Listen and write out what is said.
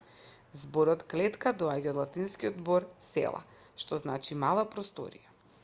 зборот клетка доаѓа од латинскиот збор cella што значи мала просторија